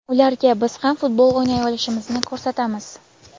Ularga biz ham futbol o‘ynay olishimizni ko‘rsatamiz.